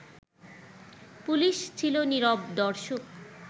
police ছিল নীরব দর্শক